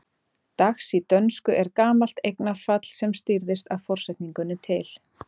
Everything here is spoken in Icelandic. Dags í dönsku er gamalt eignarfall sem stýrðist af forsetningunni til.